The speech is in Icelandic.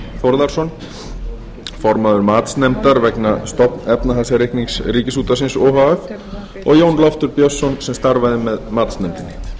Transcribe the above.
þórðarson formaður matsnefndar vegna stofnefnahagsreiknings ríkisútvarpsins o h f og jón loftur björnsson sem starfaði með matsnefndinni